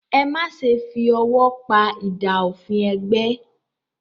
Ẹ má ṣe fi ọwọ́ pa idà òfin ẹgbẹ́!